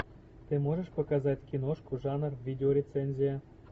ты можешь показать киношку жанр видеорецензия